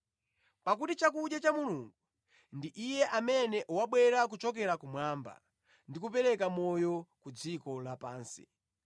Pakuti chakudya cha Mulungu ndi Iye amene wabwera kuchokera kumwamba ndi kupereka moyo ku dziko la pansi.”